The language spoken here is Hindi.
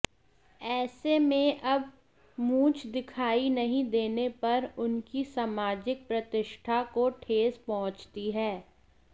ऐसे में अब मूंछ दिखाई नहीं देने पर उनकी सामाजिक प्रतिष्ठा को ठेस पहुंची है